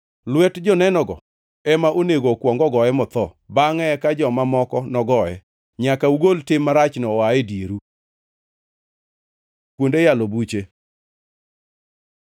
Lwet jonenogo ema onego okuong ogoye motho, bangʼe eka joma moko nogoye. Nyaka ugol tim marachno oa e dieru. Kuonde yalo buche